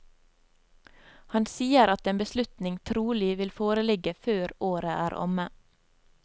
Han sier at en beslutning trolig vil foreligge før året er omme.